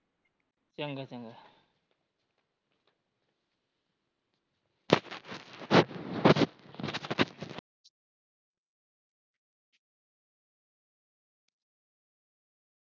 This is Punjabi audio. ਚੰਗਾ ਚੰਗਾ